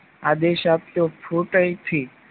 આદેશ આપ્યો ફૂટ અહીંથી